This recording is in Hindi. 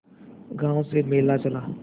गांव से मेला चला